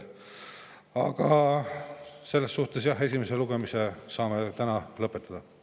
Aga esimese lugemise me saame täna lõpetada.